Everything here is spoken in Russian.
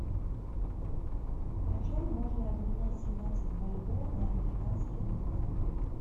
почем можно обменять семнадцать бальбоа на американские доллары